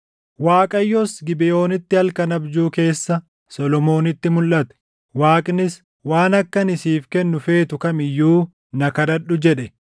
Waaqayyos Gibeʼoonitti halkan abjuu keessa Solomoonitti mulʼate; Waaqnis, “Waan akka ani siif kennu feetu kam iyyuu na kadhadhu” jedhe.